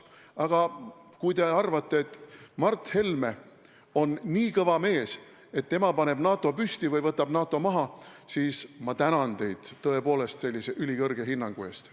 Aga kui te arvate, et Mart Helme on nii kõva mees, et tema paneb NATO püsti või võtab NATO maha, siis ma tänan teid, tõepoolest, sellise ülikõrge hinnangu eest.